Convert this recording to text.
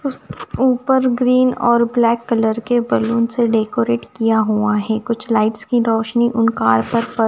ऊपर ग्रीन और black colour के बलून से डेकोरेट किया हुआ है कुछ लाइट्स की रोशनी उन कार पर पड़--